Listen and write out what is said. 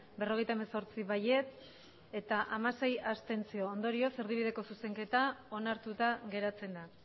berrogeita hemezortzi ondorioz erdibideko zuzenketa onartuta geratzen da